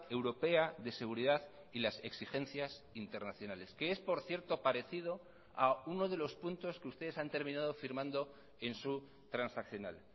europea de seguridad y las exigencias internacionales que es por cierto parecido a uno de los puntos que ustedes han terminado firmando en su transaccional